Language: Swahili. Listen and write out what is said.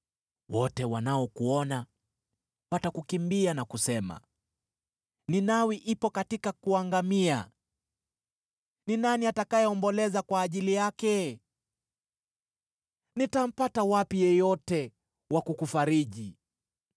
Wote wanaokuona watakukimbia na kusema, ‘Ninawi ipo katika kuangamia: ni nani atakayeomboleza kwa ajili yake?’ Nitampata wapi yeyote wa kukufariji?”